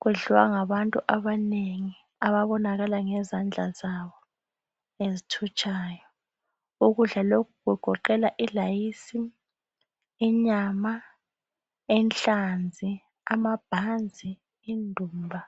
kudliwa ngabantu abanengi ababonakala ngezandla zabo ezithutshayo, ukudla lokhu kugoqela ilayisi, inyama, inhlazi, amabhanzi ,indumba.